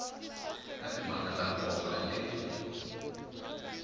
na timhaka ta nkoka leti